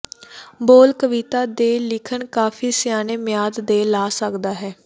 ਬੋਲ ਕਵਿਤਾ ਦੇ ਲਿਖਣ ਕਾਫ਼ੀ ਸਿਆਣੇ ਮਿਆਦ ਦੇ ਲਾ ਸਕਦਾ ਹੈ